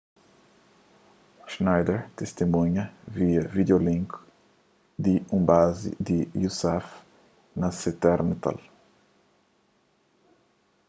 schneider tistimunha via vídiolink di un bazi di usaf na se téra natal